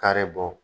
Kari bɔ